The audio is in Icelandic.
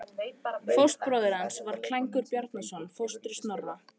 Fóstbróðir hans var Klængur Bjarnason, fóstri Snorra.